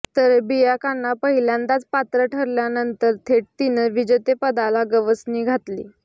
तर बियांकानं पहिल्यांदाच पात्र ठरल्यानंतर थेट तिनं विजेतेपदाला गवसणी घातली